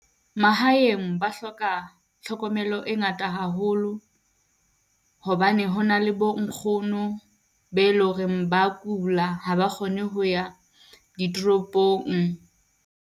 Mahaeng ba hloka tlhokomelo e ngata haholo hobane hona le bo nkgono be loreng ba kula, ha ba kgone ho ya ditoropong.